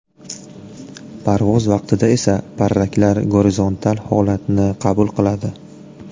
Parvoz vaqtida esa parraklar gorizontal holatni qabul qiladi.